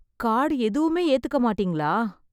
Card எதுவுமே ஏத்துக்க மாட்டிங்களா?